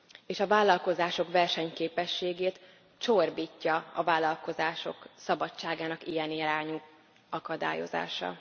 És a vállalkozások versenyképességét csorbítja a vállalkozások szabadságának ilyen irányú akadályozása.